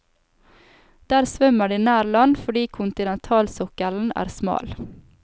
Der svømmer de nær land, fordi kontinentalsokkelen er smal.